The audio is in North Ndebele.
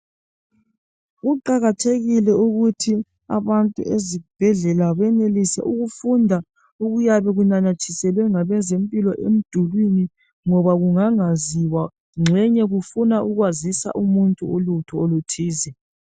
Kuqakathekile ukuthi abantu ezibhedlela benelise ukufunda okuyabe kunamathiselwe ngabezempilo emdulwini ngoba kungangaziwa gxenye kufuna ukwazisa umuntu ulutho oluthize